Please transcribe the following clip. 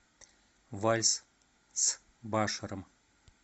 вальс с баширом